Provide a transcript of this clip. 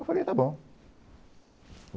Eu falei, está bom.